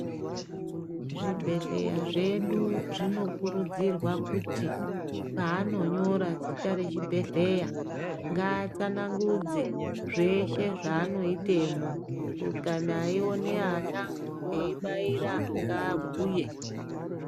Zvibhedhleya zvedu zvinokurudzirwa kuti paanonyora zita rechibhedhleya, ngaatsanangudze zveshe zvaanoitemo. Kana eione ana, eibaira ngaabhuye.